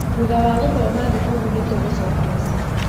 Thutha wa gũthoma thukuru nĩtũgucoka mũciĩ